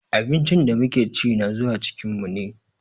Abincin da muke chi na zuwa cikin mu ne.